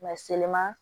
seliman